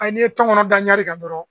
n'i ye tɔgɔnnɔ da ɲari kan dɔrɔn